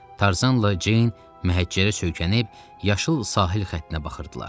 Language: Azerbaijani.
Tarzanla Ceyn məhəccərə söykənib yaşıl sahil xəttinə baxırdılar.